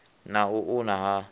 na u u una ha